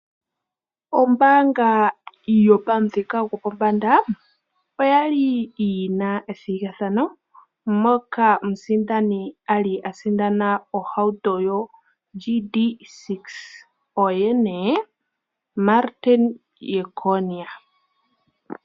Ombaanga yopamuthika gwopombanda, oya li yi na ethigathano moka omusindani a li a sindana ohauto yoGD-6. Oye nee Martin Jeckonia.